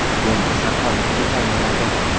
Bo‘lmasa qolib ketaveradi.